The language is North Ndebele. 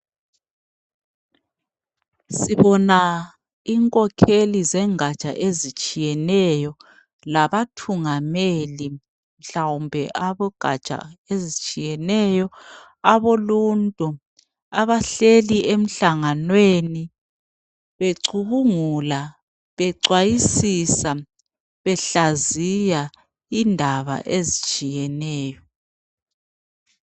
Sibona inkokheli zengatsha ezitshiyeneyo labathungameli mhlawumbe abogatsha ezitshiyeneyo aboluntu abehleli emhlanganweni, becubungula becwayisisa, behlaziya indaba ezitshiyeneyo